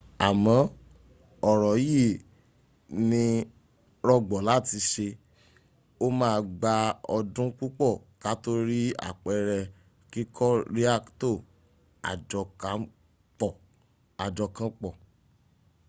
amo ọ̀rọ yí i ni rọgbọ lati ṣe ó ma gbà ọdún púpọ̀ kató rí àpere kíkò riakto ajokanpọ̀